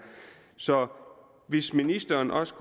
så om ministeren også